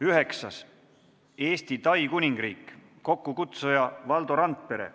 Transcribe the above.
Üheksandaks, Eesti – Tai Kuningriik, kokkukutsuja on Valdo Randpere.